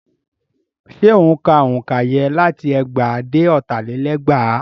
Ṣé ó ń ka òǹkà yẹn láti ẹgbàá dé ọ̀tà lé lẹ́gbàá?